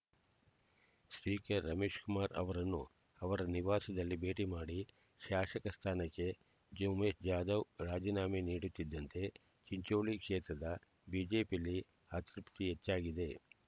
speaker Ramesh Kumar ಅವರನ್ನು ಅವರ ನಿವಾಸದಲ್ಲಿ ಭೇಟಿಮಾಡಿ ಶಾಸಕ ಸ್ಥಾನಕ್ಕೆ ಜುಮೆ ಜಾಧವ್ ರಾಜೀನಾಮೆ ನೀಡುತ್ತಿದ್ದಂತೆ ಚಿಂಚೋಳಿ ಕ್ಷೇತ್ರದ ಬಿಜೆಪಿಯಲ್ಲಿ ಅತೃಪ್ತಿ ಹೆಚ್ಚಾಗಿದೆ